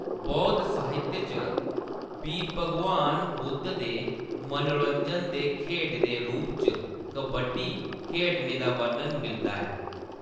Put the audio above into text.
बौद्ध साहित्य च बी भगवान बुद्ध दे मनोरंजन दे खेड्ड दे रूप च कबड्डी खेढने दा बर्णन मिलदा ऐ।